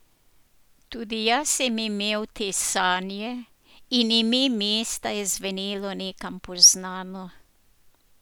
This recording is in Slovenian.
Tudi jaz sem imel te sanje, in ime mesta je zvenelo nekam poznano.